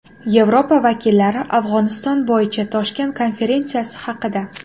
Yevropa vakillari Afg‘oniston bo‘yicha Toshkent konferensiyasi haqida.